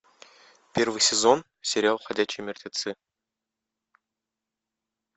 первый сезон сериал ходячие мертвецы